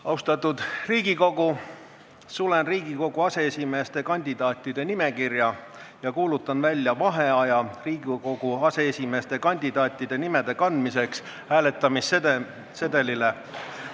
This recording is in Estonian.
Austatud Riigikogu, sulen Riigikogu aseesimeeste kandidaatide nimekirja ja kuulutan välja vaheaja Riigikogu aseesimeeste kandidaatide nimede kandmiseks hääletamissedelitele.